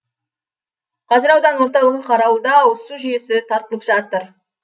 қазір аудан орталығы қарауылда ауызсу жүйесі тартылып жатыр